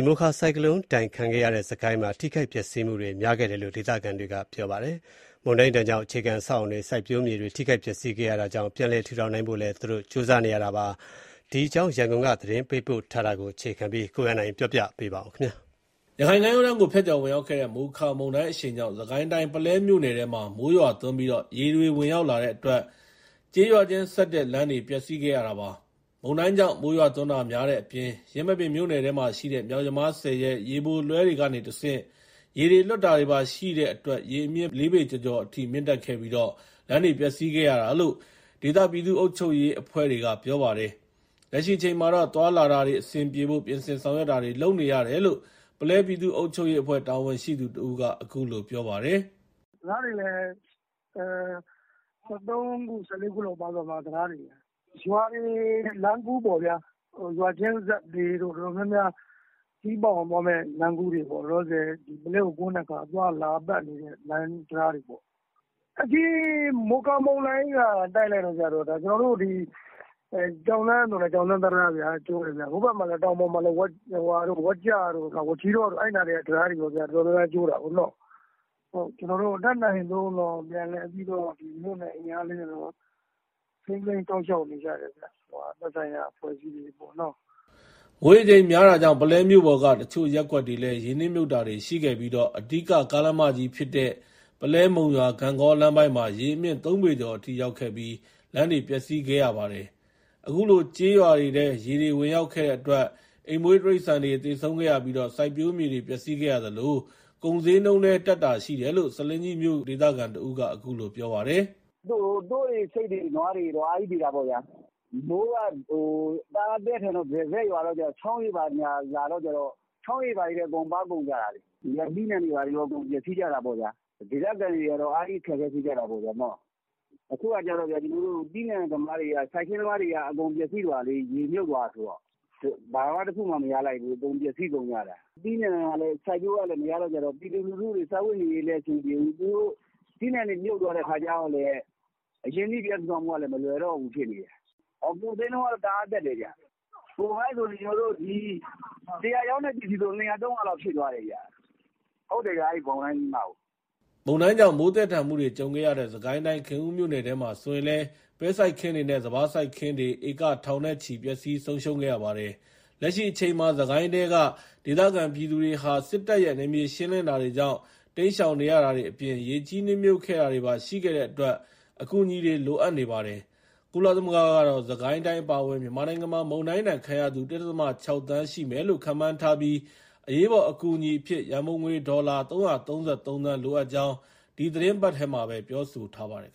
မိုခါဆိုင်ကလုန်းမုန်တိုင်းဒဏ်ခံခဲ့ရတဲ့ စစ်ကိုင်းတိုင်းမှာ ထိခိုက်ပျက်စီးမှုတွေ များခဲ့တယ်လို့ ဒေသခံတွေက ပြောပါတယ်။ မုန်တိုင်းဒဏ်ကြောင့် အခြေခံအဆောက်အအုံတွေ၊ စိုက်ပျိုးမြေတွေ ထိခိုက်ပျက်စီးခဲ့ရတာကြောင့် ပြန်လည် ထူထောင်နိုင်ဖို့လည်း ကြိုးစားနေရတာပါ။ စစ်ကိုင်းတိုင်းက မုန်တိုင်းသင့် အခြေအနေတွေနဲ့ ပတ်သက်လို့ ရန်ကုန်က သတင်းပေးပို့ ထားတာကို အခြေခံပြီး ကိုရန်နိုင် ပြောပြပါမယ်။ ရခိုင်ကမ်းရိုးတန်းကို ဖြတ်ကျော်ဝင်ရောက်ခဲ့တဲ့ မိုခါမုန်တိုင်းအရှိန်ကြောင့် စစ်ကိုင်းတိုင်း ပုလဲမြို့နယ်ထဲမှာ မိုးရွာသွန်းပြီး ရေတွေဝင်ရောက်လာတဲ့အတွက် ကျေးရွာချင်းဆက် လမ်းတွေ ပျက်စီးခဲ့ရတာပါ။ မုန်တိုင်းကြောင့်မိုးရွာသွန်းတာများတဲ့အပြင် ယင်းမာပင်မြို့နယ်ထဲမှာရှိတဲ့ မြောက်ယမားဆည်ရဲ့ ရေပိုလွှဲတွေကနေတဆင့် ရေတွေလွှတ်တာတွေပါရှိတဲ့အတွက် ရေအမြင့် ၄ ပေကျော်ကျော်အထိ မြင့်တက်ခဲ့ပြီး လမ်းတွေ ပျက်စီးခဲ့ရတာလို့ ဒေသပြည်သူ့အုပ်ချုပ်ရေးအုပ်ချုပ်ရေးအဖွဲ့တွေက ပြောပါတယ်။ လက်ရှိအချိန်မှာ သွားလာတာ အဆင်ပြေဖို့ ပြင်ဆင်ဆောင်ရွက်တာတွေ လုပ်နေရတယ်လို့ ပုလဲပြည်သူ့ အုပ်ချုပ်ရေး အဖွဲ့ တာဝန်ရှိသူ တဦးက အခုလို ပြောပါတယ်။ “တံတာားတွေလည်း ၁၃ ခု ၁၄ ခုလောက်ပါသွားတယ်။ ရွာတွေလမ်းကူးပေါ့ဗျာ ရွာချင်းဆက်တွေ တော်တော်များများခရီးပေါက်အောင်သွားမယ့် လမ်းကူးတွေပေါ့ လောလောဆယ် ပုလဲကိုကွင်းတဲ့ သွားလာတဲ့လမ်းတံတားတွေပေါ့။ ဒီမိုခါမုန်တိုင်းက တိုက်လိုက်တဲ့အခါကျတော့ ကျွန်တော်တို့ ဒီ ကျောက်လမ်းဆိုလည်း ကျောက်လမ်း တံတားဗျာ။ ဟိုဘက်တောင်ပေါ် ဝက်ကျတို့ မကျီးတောတို့ဘက်က တံတားတွေလည်း တော်တော်ကျိုးတာပေါ့။ ကျွန်တော်တို့ တတ်နိုင်သလောက် မြို့နယ်အင်အား လေးနဲ့တော့ ထိန်းသိမ်းစောင့်ရှောက်နေကြတယ်ခင်ဗျ။ သက်ဆိုင်ရာ အဖွဲ့အစည်းတွေပေါ့နော်။” မိုးရေချိန်များတာကြောင့် ပုလဲမြို့ပေါ်က အချို့ရပ်ကွက်တွေလည်း ရေနစ်မြှုပ်တာတွေရှိခဲ့ပြီး အဓိက ကားလမ်းမကြီးဖြစ်တဲ့ ပုလဲ-မုံရွာ-ဂန့်ဂေါ် လမ်းပိုင်းမှာ ရေအမြင့် ၃ ပေကျော်အထိရောက်ခဲ့ပြီး လမ်းတွေ ပျက်စီးခဲ့ရပါတယ်။ အခုလို ကျေးရွာတွေထဲ ရေတွေဝင်ရောက်ခဲ့တဲ့အတွက် အိမ်မွှေး တိရစ္ဆာန်တွေ သေဆုံးခဲ့ရပြီး စိုက်ပျိုးမြေတွေ ပျက်စီးခဲ့ရသလို ကုန်ဈေးနှုန်းလည်း တက်တာရှိတယ်လို့ ဆားလင်းကြီးမြို့ ဒေသခံတဦးက အခုလို ပြောပါတယ်။ “သိုးတွေ ဆိတ်တွေ နွားတွေ အားကြီးသေတာပေါ့ဗျာ။ မိုးကသည်းထန်တော့ တရစပ်ရွာတဲ့အခါကျတော့ ချောင်းရေဘာညာ လာတဲ့အခါကျတော့ ချောင်းရေတွေထဲ အကုန်ပါကုန်ကြတာလေ။ သီးနှံတွေလည်း အကုန်ပျက်စီးကြတာပေါ့ဗျာ။ ဒေသခံတွေက အားကြီး အခက်အခဲဖြစ်ကြတာပေါ့။ အခုက သီးနှံသမားတွေ စိုက်ခင်းသမားတွေက အကုန်ပျက်စီးသွားတာ ရေမြှုပ်သွားတာဆိုတော့ ဘာတခုမှ မရလိုက်ဘူး။ အကုန်ပျက်စီး ကုန်ကြတာ။ သီးနှံကလည်း စိုက်ပျိုးလို့မရတော့ ပြည်သူလူထုတွေ စားဝတ်နေရေးလည်း အဆင်မပြေဘူး။ သီးနှံတွေ မြုပ်သွားတဲ့အခါကျတော့လည်း အရင်းနှီးပြန်ထူထောင်ဖို့ကလည်း မလွယ်တော့ဘူးဖြစ်နေတယ်။ ကုန်ဈေးနှုန်းက တအားတက်တယ်ခင်ဗျ။ ၁၀၀ ရောင်းတဲ့ ပစ္စည်းဆို ၂၀၀/၃၀၀ လောက်ဖြစ်သွားတယ်။ ဟုတ်တယ် မုန်တိုင်းပြီးမှကို။” မုန်တိုင်းကြောင့် မိုးသည်းထန်မှုတွေ ကြုံခဲ့ရတဲ့ စစ်ကိုင်းတိုင်း ခင်ဦးမြို့နယ်ထဲမှာဆိုရင်လည်း ပဲစိုက်ခင်းတွေနဲ့ စပါးစိုက်ခင်းတွေ ဧက ထောင်နဲ့ချီ ပျက်စီး ဆုံးရှုံးခဲ့ရပါတယ်။ လက်ရှိအချိန်မှာ စစ်ကိုင်းထဲက ဒေသခံပြည်သူတွေဟာ စစ်တပ်ရဲ့ နယ်မြေရှင်းလင်းတာတွေကြောင့် တိမ်းရှောင်နေရတာတွေအပြင် ရေကြီး နစ်မြှုပ်ခဲ့တာတွေပါ ရှိခဲ့အတွက် အကူအညီတွေ လိုအပ်နေပါတယ်။ ကုလသမဂ္ဂကတော့ စစ်ကိုင်းတိုင်း အပါအဝင် မြန်မာနိုင်ငံမှာ မုန်တိုင်းဒဏ်ခံရသူ ၁.၆ သန်း ရှိမယ်လို့ ခန့်မှန်းထားပြီး၊ အရေးပေါ်အကူအညီအဖြစ် ရန်ပုံငွေ ဒေါ်လာ ၃၃၃ သန်း လိုအပ်ကြောင်း ဒီသီတင်းပတ်ထဲမှာပဲ ပြောဆိုထားပါတယ်